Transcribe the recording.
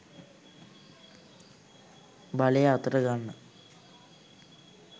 බලය අතට ගන්න.